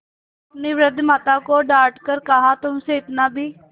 अपनी वृद्धा माता को डॉँट कर कहातुमसे इतना भी